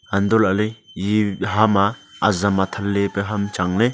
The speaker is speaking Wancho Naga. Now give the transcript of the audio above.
hantoh lahley eye ham a azam athan ley pe ham Chang ley.